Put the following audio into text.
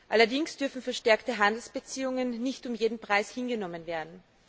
Allerdings dürfen verstärkte Handelsbeziehungen nicht um jeden Preis hingenommen werden.